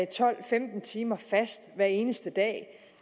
tolv til femten timer fast hver eneste dag